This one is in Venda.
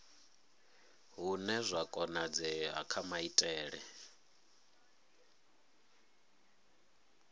hune zwa konadzea kha maitele